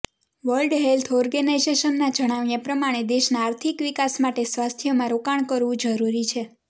world health ઓર્ગેનાઇઝેશનના જણાવ્યા પ્રમાણે દેશના આર્થિક વિકાસ માટે સ્વાસ્થ્યમાં રોકાણ કરવું જરૂરી છે